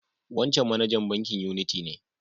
Wancan manajan bankin Unity ne.